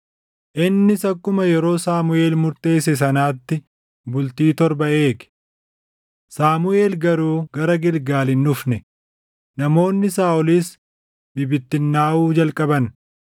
Innis akkuma yeroo Saamuʼeel murteesse sanaatti bultii torba eege; Saamuʼeel garuu gara Gilgaal hin dhufne; namoonni Saaʼolis bibittinnaaʼuu jalqaban.